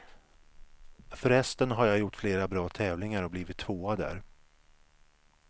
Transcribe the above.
Förresten har jag gjort flera bra tävlingar och blivit tvåa där.